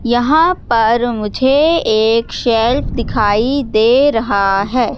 यहां पर मुझे एक शेल्फ दिखाई दे रहा है।